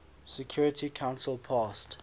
security council passed